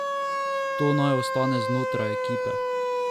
To naj ostane znotraj ekipe.